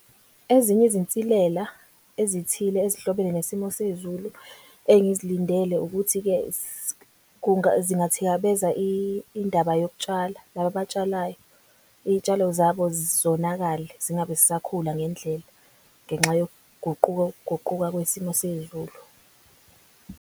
Ezinye izinsilela ezithile ezihlobene nesimo sezulu engizilindele ukuthi-ke zingathikabeza indaba yokutshala. Laba abatshalayo iy'tshalo zabo zonakele zingabe zisakhula ngendlela ngenxa kuguquka kwesimo sezulu.